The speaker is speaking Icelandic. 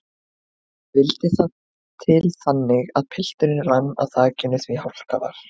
Vildi það til þannig að pilturinn rann á þakinu því hálka var.